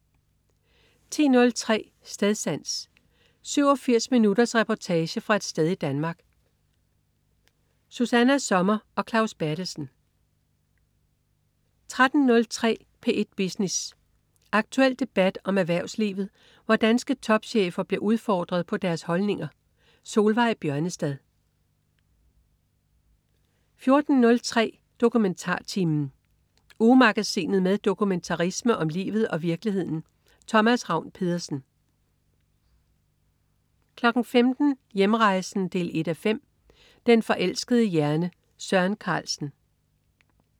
10.03 Stedsans. 87 minutters reportage fra et sted i Danmark. Susanna Sommer og Claus Berthelsen 13.03 P1 Business. Aktuel debat om erhvervslivet, hvor danske topchefer bliver udfordret på deres holdninger. Solveig Bjørnestad 14.03 DokumentarTimen. Ugemagasinet med dokumentarisme om livet og virkeligheden. Thomas Ravn-Pedersen 15.00 Hjernerejsen 1:5. Den forelskede hjerne. Søren Carlsen